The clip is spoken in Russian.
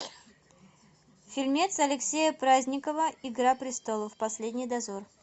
фильмец алексея праздникова игра престолов последний дозор